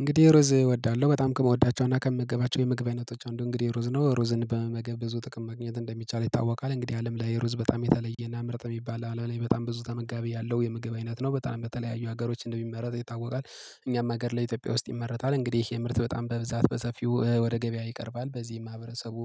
እንግዲህ ሩዝ እወዳለሁ በጣም ከምወዳቸው እና ከምገባቸው የምግብ አይነቶች አንዱ እንግዲህ ሩዝ ነው ሩዝን በመመገብ ብዙ ጥቅም ማግኘት እንደሚቻል ይታወቃል እንግዲህ አለም ላይ ሩዝ በጣም የተለየና ምርጥ የሚባል አለም ላይ በጣም ብዙ ተመጋቢ ያለው የምግብ አይነት ነው በጣም በተለያዩ ሀገሮች እንደሚመረት ይታወቃል። እኛም ሀገር ላይ ኢትዮጵያ ውስጥ ይመረጣል እንግዲህ ይሄ ምርት በጣም በብዛት በሰፊው ወደ ገበያ ይቀርባል በዚህ ማህበረሰቡ